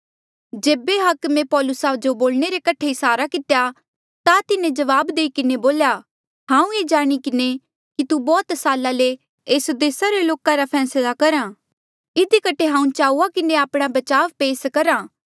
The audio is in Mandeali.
जेबे हाकमे पौलुसा जो बोलणे रे कठे इसारा कितेया ता तिन्हें जवाब देई किन्हें बोल्या हांऊँ ऐें जाणी किन्हें कि तू बौह्त साला ले एस देसा रे लोका रा फैसला करहा इधी कठे हांऊँ चाऊआ किन्हें आपणा बचाव पेस करहा